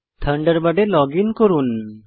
থান্ডারবার্ডে log in করুন